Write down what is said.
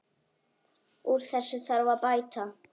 Úr þessu þarf að bæta.